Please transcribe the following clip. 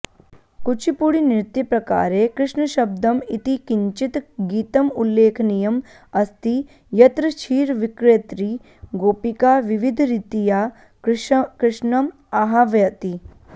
कूचिपुडीनृत्यप्रकारे कृष्णशब्दम् इति किञ्चित् गीतम् उल्लेखनीयम् अस्ति यत्र क्षिरविक्रेत्री गोपिका विविधरीत्या कृष्णम् आह्वयति